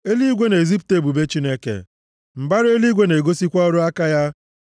Eluigwe na-ezipụta ebube Chineke; mbara eluigwe na-egosikwa ọrụ aka ya.